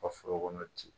Ka foro kɔnɔ ten